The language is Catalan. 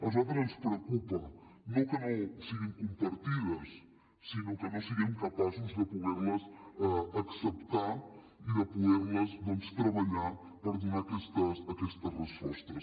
a nosaltres ens preocupa no que no siguin compartides sinó que no siguem capaços de poder les acceptar i de poder les doncs treballar per donar aquestes respostes